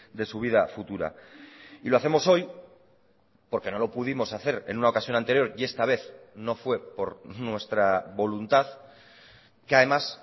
de su vida futura y lo hacemos hoy porque no lo pudimos hacer en una ocasión anterior y esta vez no fue por nuestra voluntad que además